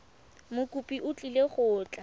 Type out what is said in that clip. mokopi o tlile go tla